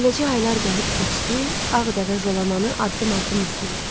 Beləcə aylar gəlib keçdi, ağ dəvə Jalamanı addım-addım izləyirdi.